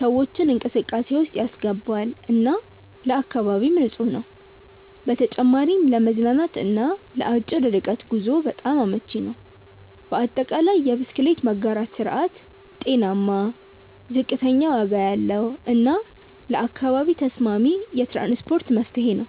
ሰዎችን እንቅስቃሴ ውስጥ ያስገባል እና ለአካባቢም ንፁህ ነው። በተጨማሪም ለመዝናናት እና ለአጭር ርቀት ጉዞ በጣም አመቺ ነው። በአጠቃላይ፣ የብስክሌት መጋራት ስርዓት ጤናማ፣ ዝቅተኛ ዋጋ ያለው እና ለአካባቢ ተስማሚ የትራንስፖርት መፍትሄ ነው።